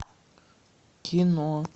кино